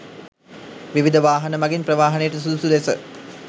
විවිධ වාහන මගින් ප්‍රවාහනයට සුදුසු ලෙස